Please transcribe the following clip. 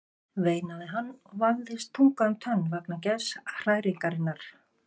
veinaði hann og vafðist tunga um tönn vegna geðshræringarinnar.